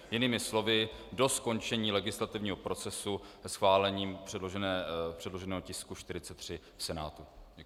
Jinými slovy, do skončení legislativního procesu schválením předloženého tisku 43 v Senátu.